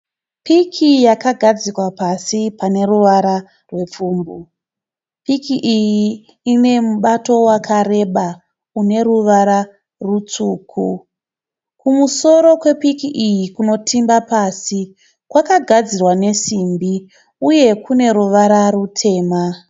Piki yakagadzikwa pasi pane ruvara rwepfumbu. Piki iyi ine mubato wakareba une ruvara rutsvuku. Kumusoro kwe piki iyi kunotimba pasi kwakagadzirwa nesimbi uye kune ruvara rutema .